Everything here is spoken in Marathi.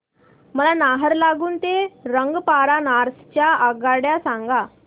मला नाहरलागुन ते रंगपारा नॉर्थ च्या आगगाड्या सांगा